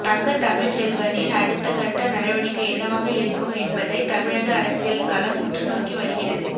தங்க தமிழ்ச்செல்வனின் அடுத்தகட்ட நடவடிக்கை என்னவாக இருக்கும் என்பதை தமிழக அரசியல் களம் உற்றுநோக்கி வருகிறது